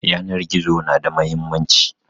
Yanan gizo na da muhimmanci